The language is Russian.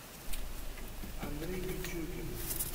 андрей пичугин